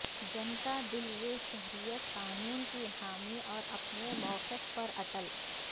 Janata Dal U شہریت قانون کی حامی اور اپنے موقف پر اٹل